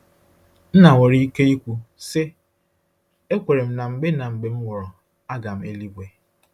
Nna nwere ike ikwu, sị: “Ekwere m na mgbe na mgbe m nwụrụ, aga m eluigwe.”